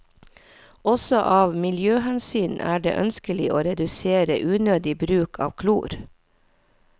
Også av miljøhensyn er det ønskelig å redusere unødig bruk av klor.